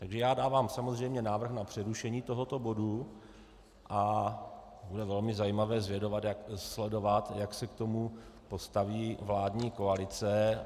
Takže já dávám samozřejmě návrh na přerušení tohoto bodu a bude velmi zajímavé sledovat, jak se k tomu postaví vládní koalice.